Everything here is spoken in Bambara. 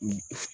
Unhun